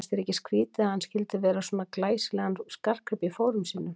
Fannst þér ekkert skrýtið að hann skyldi vera með svona glæsilegan skartgrip í fórum sínum?